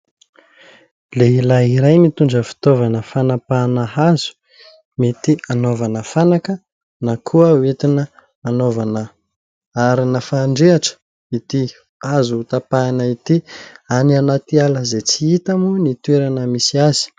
Lehilahy iray mitondra fitaovana fanampahana hazo . Mety hanaovana fanaka na koa hoentina hanaovana arina fandrehitra ity hazo ho tapahina ity, any anaty ala izay tsy hita moa ny toerana misy azy.